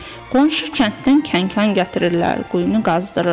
Qonşu kənddən kənkan gətirirlər, quyunu qazdırırlar.